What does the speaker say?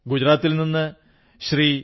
ഗുജറാത്തിൽ നിന്ന് ശ്രീ